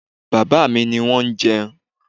Bàbá mi ní wọn jẹ ẹ́